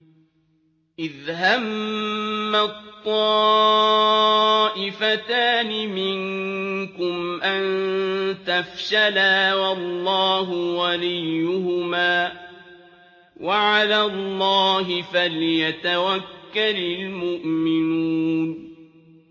إِذْ هَمَّت طَّائِفَتَانِ مِنكُمْ أَن تَفْشَلَا وَاللَّهُ وَلِيُّهُمَا ۗ وَعَلَى اللَّهِ فَلْيَتَوَكَّلِ الْمُؤْمِنُونَ